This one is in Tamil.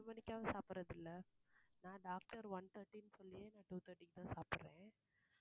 ரெண்டு மணிக்காவது சாப்பிடறதில்ல. நான் doctor one thirty ன்னு சொல்லியே நான் two thirty க்கு தான் சாப்பிடறேன்.